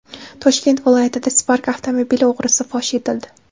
Toshkent viloyatida Spark avtomobili o‘g‘risi fosh etildi.